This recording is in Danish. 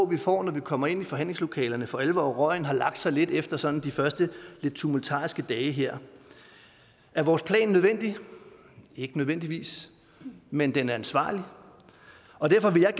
vi får når vi kommer ind i forhandlingslokalet for alvor og røgen har lagt sig lidt efter sådan de første lidt tumultariske dage her er vores plan nødvendig ikke nødvendigvis men den er ansvarlig og derfor vil jeg